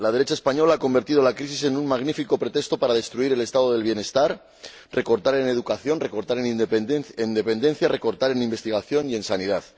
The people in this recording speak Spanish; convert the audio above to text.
La derecha española ha convertido la crisis en un magnífico pretexto para destruir el Estado del bienestar, recortar en educación, recortar en dependencia, recortar en investigación y en sanidad.